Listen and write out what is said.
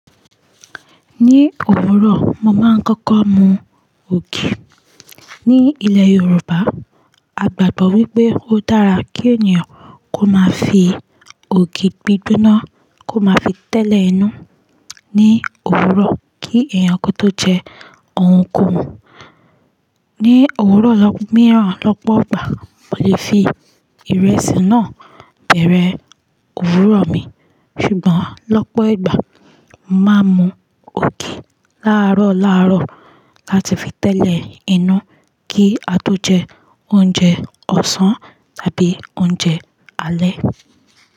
Ní òwúrọ̀, mo máa ń kọ́kọ́ mu ògì. Ni ilẹ̀ Yorùbá, a gbàgbọ́ wípé ó dára kí ènìyàn kó máa fi ògì gbígbóná kó máa fi tẹ́lẹ̀ inú ní òwúrọ̀ kí èèyàn kó tó jẹ oun ko'hun. Ni òwúrọ̀ lọ́pọ̀ míìràn, lọ́pọ̀ ìgbà, mo lè fi ìrẹsì náà bẹ̀rẹ̀ òwúrọ̀ mi, ṣùgbọ́n lọ́pọ̀ ìgbà, màá mu ògì láàárọ̀ láàárọ̀ láti fi tẹ́lẹ̀ inú kí a tó jẹ oúnjẹ ọ̀sán tàbí oúnjẹ alẹ́.